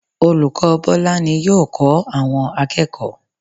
Olùkọ́ Bọ́lá ni yóò kọ́ àwọn akẹ́kọ̀ọ́